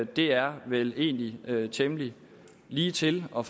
det er vel egentlig temmelig ligetil og